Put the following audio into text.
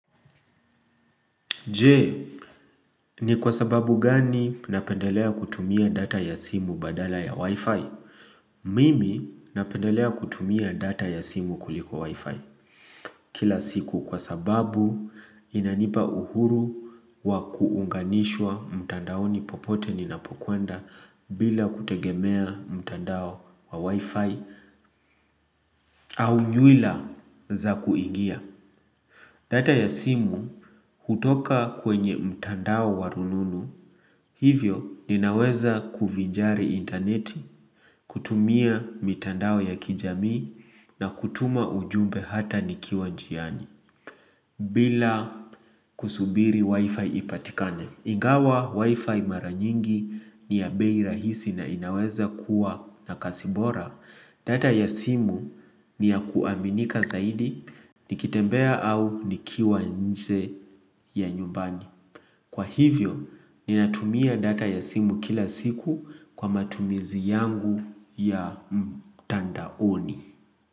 Jee, ni kwa sababu gani napendelea kutumia data ya simu badala ya Wi-Fi? Mimi napendelea kutumia data ya simu kuliko Wi-Fi kila siku kwa sababu inanipa uhuru wa kuunganishwa mtandaoni popote ni napokuenda bila kutegemea mtandao wa Wi-Fi au nyuila za kuingia. Data ya simu hutoka kwenye mtandao wa rununu hivyo ninaweza kuvijari interneti kutumia mitandao ya kijami na kutuma ujumbe hata nikiwa njiani bila kusubiri wifi ipatikane. Ingawa wifi maranyingi ni ya bei rahisi na inaweza kuwa na kasibora data ya simu ni ya kuaminika zaidi Nikitembea au nikiwa nje ya nyumbani Kwa hivyo, ninatumia data ya simu kila siku kwa matumizi yangu ya mtandaoni.